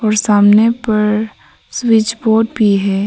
सामने पर switch board भी है।